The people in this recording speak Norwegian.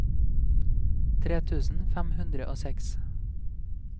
tre tusen fem hundre og seks